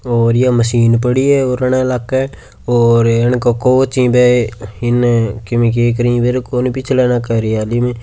और या मशीन पड़ी है और अणा इलाका है और अण को कोच ही बे इने किमी के करेहि बेरो कोनी पीछे आड़ा हरियाली में--